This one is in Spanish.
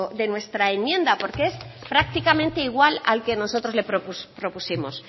de nuestra enmienda porque es prácticamente igual al que nosotros le propusimos